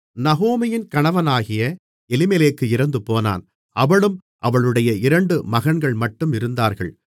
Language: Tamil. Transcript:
நகோமியின் கணவனாகிய எலிமெலேக்கு இறந்துபோனான் அவளும் அவளுடைய இரண்டு மகன்கள்மட்டும் இருந்தார்கள்